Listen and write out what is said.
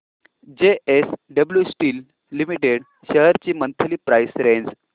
JSW Steel Limited shares ची monthly price range